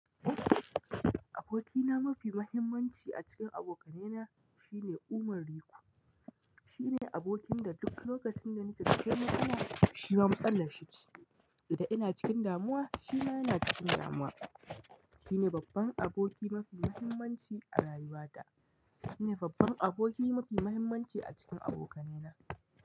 Abokina mafi mahimmanci a cikin abokanaina shine Umar Riku. Shine abokin da duk lokacin da nake da kyama yana, shi ma musallashi ce. Idan ina cikin damuwa, shi ma yana cikin damuwa. Shine babban aboki mafi mahimmanci a rayuwata. Shine babban aboki mafi mahimmanci a cikin abokainena.